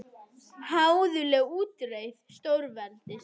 Háðuleg útreið stórveldis